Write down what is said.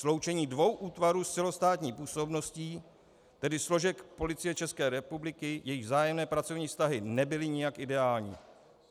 Sloučení dvou útvarů s celostátní působností, tedy složek Policie České republiky, jejichž vzájemné pracovní vztahy nebyly nijak ideální.